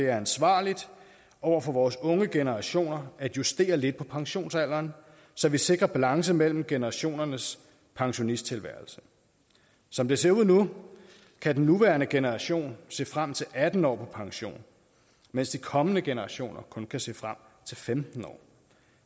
ansvarligt over for vores unge generationer at justere lidt på pensionsalderen så vi sikrer balance mellem generationernes pensionisttilværelse som det ser ud nu kan den nuværende generation se frem til atten år på pension mens de kommende generationer kun kan se frem til femten år